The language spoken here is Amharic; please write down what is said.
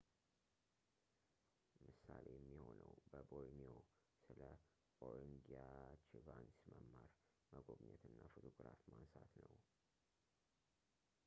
ምሳሌ የሚሆነው በቦርኒዮ ስለ ኦርግንጊያችቫንስ መማር መጎብኘት እና ፎቶግራፍ ማንሳት ነው